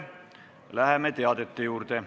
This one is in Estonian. Läheme teadete juurde.